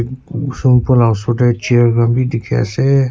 Surkular la usor tey chair khan beh dekhe ase.